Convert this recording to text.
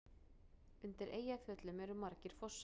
Undir Eyjafjöllum eru margir fossar.